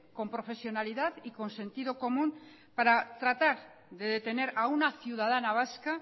con profesionalidad y con sentido común para tratar de detener a una ciudadana vasca